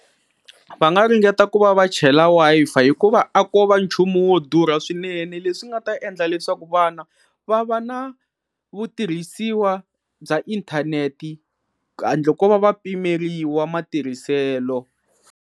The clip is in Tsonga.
Va nga ringeta ku va va chela Wi-Fi hikuva a ko va nchumu wo durha swinene leswi nga ta endla leswaku vana va va na vutirhisiwa bya inthanete handle ko va va pimeriwa matirhiselo.